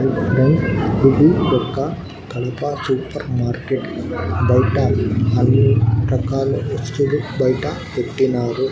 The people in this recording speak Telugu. ఇది ఒక్క కడప సూపర్ మార్కెట్ బయట అన్ని రకాల వస్తువులు బయట పెట్టినారు.